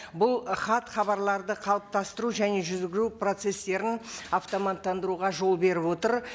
бұл ы хат хабарларды қалыптастыру және жүргізу процесстерін автоматтандыруға жол беріп отыр